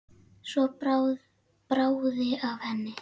Svo bráði af henni.